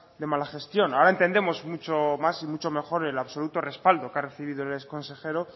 de mala gestión ahora entendemos mucho más y mucho mejor el absoluto respaldo que ha recibido el exconsejero